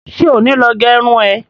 Ṣé ò ní lọ gẹrun ẹ?